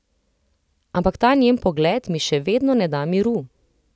Ampak ta njen pogled mi še vedno ne da miru.